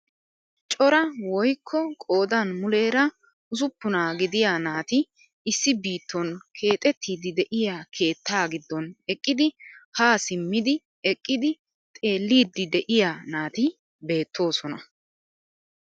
Cora woykko qoodan muleera usuppunaaa gidiyaa naati issi biton keexettidi de'iyaa keettaa giddon eqqidi haa simmidi eqqidi xeelliidi de'iyaa naati bettoosona.